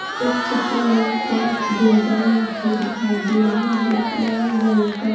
इस चित्र में पाँच गुलदान रखे दिखाए दे रहे है लाल रंग का--